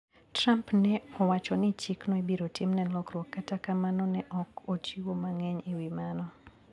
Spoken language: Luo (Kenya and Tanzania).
Trump ne owacho ni chikno ibiro timne lokruok kata kamano ne ok ochiwo mang`eny e wi mano.